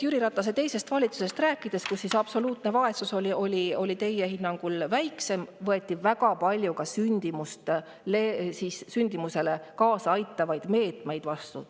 Jüri Ratase teisest valitsusest rääkides, kus absoluutne vaesus oli teie hinnangul väiksem – sel ajal võeti väga palju sündimusele kaasa aitavaid meetmeid vastu.